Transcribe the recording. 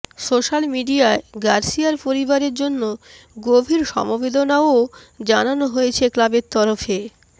social মিডিয়ায় গার্সিয়ার পরিবারের জন্য গভীর সমবেদনাও জানানো হয়েছে ক্লাবের তরফে